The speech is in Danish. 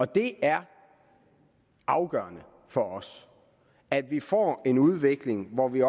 det er afgørende for os at vi får en udvikling hvor vi